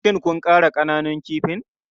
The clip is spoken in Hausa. Shin kun ƙara ƙananun kifin?